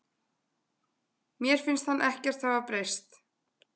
Mér finnst hann ekkert hafa breyst.